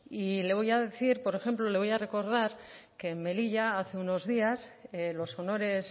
y le voy a decir por ejemplo le voy a recordar que en melilla hace unos días los honores